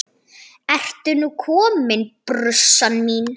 Ertu nú komin, brussan mín?